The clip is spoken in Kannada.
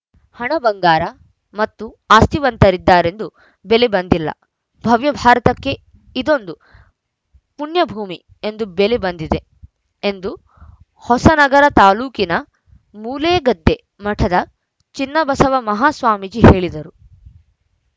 ಹಣ ಬಂಗಾರ ಮತ್ತು ಆಸ್ತಿವಂತರಿದ್ದಾರೆಂದೂ ಬೆಲೆ ಬಂದಿಲ್ಲ ಭವ್ಯ ಭಾರತಕ್ಕೆ ಇದೊಂದು ಪುಣ್ಯಭೂಮಿ ಎಂದು ಬೆಲೆ ಬಂದಿದೆ ಎಂದು ಹೊಸನಗರ ತಾಲೂಕಿನ ಮೂಲೆಗದ್ದೆ ಮಠದ ಚೆನ್ನಬಸವ ಮಹಾಸ್ವಾಮೀಜಿ ಹೇಳಿದರು